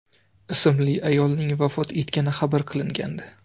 ismli ayolning vafot etgani xabar qilingandi .